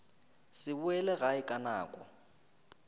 se boele gae ka nako